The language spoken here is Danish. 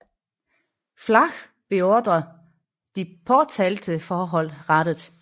Flach beordre de påtalte forhold rettet